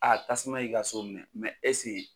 A tasuma y'i ka so minɛ ɛsike